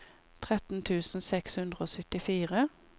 tretten tusen seks hundre og syttifire